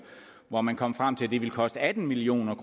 hvor man kom frem til at det ville koste atten million